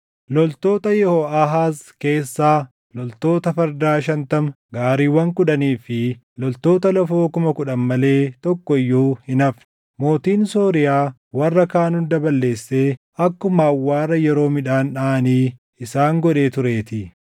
Loltoota Yehooʼaahaaz keessaa loltoota fardaa shantama, gaariiwwan kudhanii fi loltoota lafoo kuma kudhan malee tokko iyyuu hin hafne; mootiin Sooriyaa warra kaan hunda balleessee akkuma awwaara yeroo midhaan dhaʼanii isaan godhee tureetii.